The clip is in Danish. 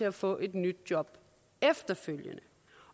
at få et nyt job efterfølgende